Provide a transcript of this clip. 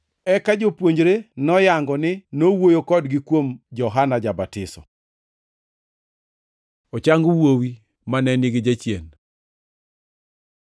Eka jopuonjre noyango ni nowuoyo kodgi kuom Johana ja-Batiso. Ochang wuowi mane nigi jachien